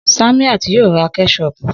Samiat yóò ra Kẹ́ṣọpù